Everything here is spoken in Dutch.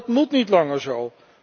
Dat moet niet langer zo.